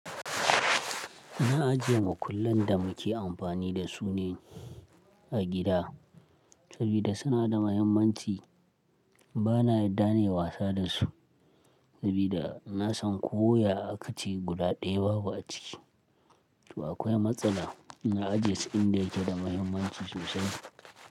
Na ajiye makullan da muke amfani da su ne a gida, sabida suna da mahimmanci. Bana yarda ne wasa da su, sabida na san ko ya akaci guda ɗaya babu a ciki. To akwai matsala, na ajiye su inda yake da mahimmanci sosai.